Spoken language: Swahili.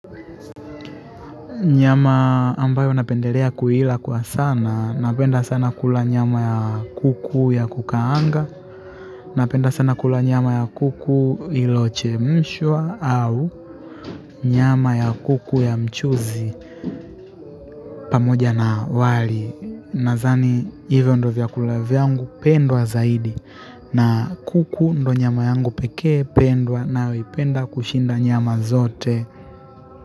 Nyama ambayo napendelea kuila kwa sana, napenda sana kula nyama ya kuku ya kukaanga, napenda sana kula nyama ya kuku iliyochemshwa au nyama ya kuku ya mchuzi pamoja na wali. Nadhani hivyo ndiyo vyakula vyangu pendwa zaidi na kuku ndio nyama yangu pekee pendwa nayoipenda kushinda nyama zote.